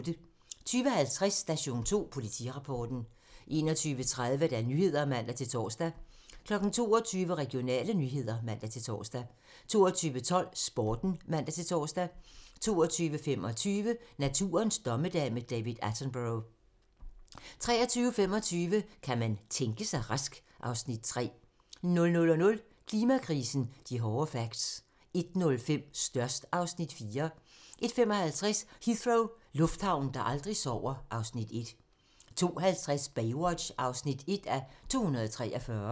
20:50: Station 2: Politirapporten 21:30: Nyhederne (man-tor) 22:00: Regionale nyheder (man-tor) 22:12: Sporten (man-tor) 22:25: Naturens dommedag - med David Attenborough 23:25: Kan man tænke sig rask? (Afs. 3) 00:00: Klimakrisen - de hårde facts 01:05: Størst (Afs. 4) 01:55: Heathrow - lufthavnen, der aldrig sover (Afs. 1) 02:50: Baywatch (1:243)